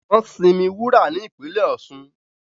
nwọn sí mí wúrà ní ìpínlè Osun.